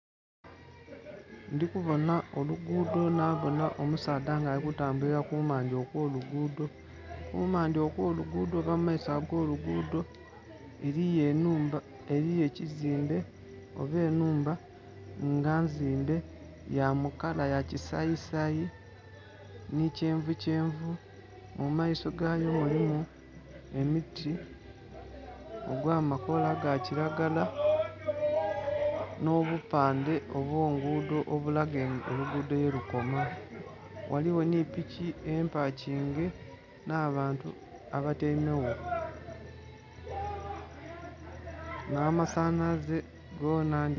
Ndi kubona oluguudo nabona omusaadha nga ali kutambuli kumbali okw'oluguudo, kumbali okw'oluguudo oba mu maiso agh'oluguudo eriyo ekizimbe oba ennhumba nga nzimbe ya mu kala yakisayisayi ni kyenvukyenvu. Mu maiso gayo ghaligho emiti egy'amakoola ga kiragala n'obupandhe obw'oluguudo obulaga oluguudo yelukoma. Ghaligho ni piki empakinge n'abantu abatyaime gho n'amasanhalaze gona...